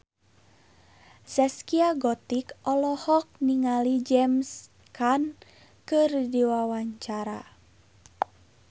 Zaskia Gotik olohok ningali James Caan keur diwawancara